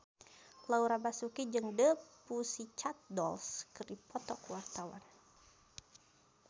Laura Basuki jeung The Pussycat Dolls keur dipoto ku wartawan